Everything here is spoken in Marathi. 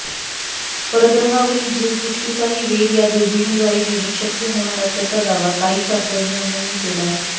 परग्रहावरील जीवसृष्टीचाही वेध या दुर्बिणीद्वारे घेणे शक्य होणार असल्याचा दावा काही शास्त्रज्ञांनी केला आहे